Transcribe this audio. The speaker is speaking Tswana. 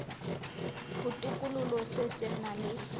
botokololo se se nang le